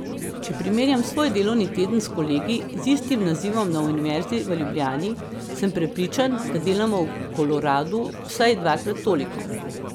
Če primerjam svoj delovni teden s kolegi z istim nazivom na Univerzi v Ljubljani, sem prepričan, da delamo v Koloradu vsaj dvakrat toliko.